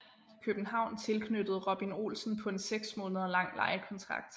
København tilknyttede Robin Olsen på en seks måneder lang lejekontrakt